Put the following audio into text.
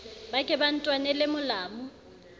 ba ke ba ntwanele molamu